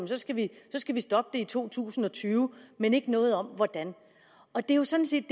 at vi skal stoppe i to tusind og tyve men ikke noget om hvordan det er jo sådan set